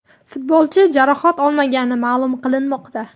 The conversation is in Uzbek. Futbolchi jarohat olmagani ma’lum qilinmoqda.